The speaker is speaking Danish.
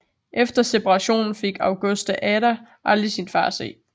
Efter separationen fik Augusta Ada aldrig sin far at se